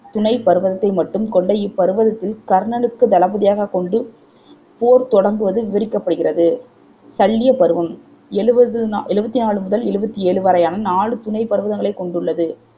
துணைப் பர்வதத்தை மட்டும் கொண்ட இப்பர்வதத்தில் கர்ணனுக்கு தளபதியாகக் கொண்டு போர் தொடங்குவது விவரிக்கப்படுகின்றது சல்லிய பருவம் எழுபது நா எழுபத்தி நாலு முதல் எழுவத்தி ஏழு வரையான நாலு துணைப் பர்வகங்களைக் கொண்டுள்ளது